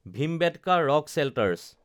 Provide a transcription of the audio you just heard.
Bhimbetka rock shelters